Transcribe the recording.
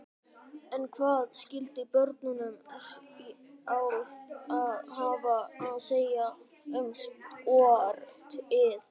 En hvað skyldu börnin sjálf hafa að segja um sportið?